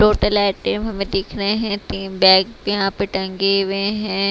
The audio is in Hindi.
टोटल आइटम हमें दिख रहे हैं तीन बैग यहां पे टंगे हुए हैं।